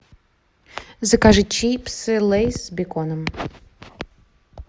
закажи чипсы лейс с беконом